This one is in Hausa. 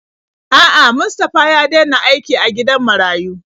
A'a, Mustafa ya dena aiki a gidan marayu.